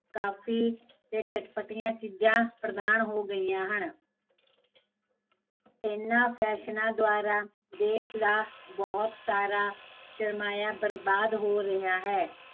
ਕਾਫੀ ਤੇ ਚਟਪਟੀਆ ਚੀਜ਼ਾਂ ਪ੍ਰਧਾਨ ਹੋ ਗਈਆ ਹਨ ਇਹਨਾਂ ਫੈਸ਼ਨਾ ਦਵਾਰਾਂ ਦੇਸ਼ ਦਾ ਬਹੁਤ ਸਾਰਾ, ਸ਼ਰਮਾਇਆ ਬਰਬਾਦ ਹੋ ਰਿਹਾ ਹੈ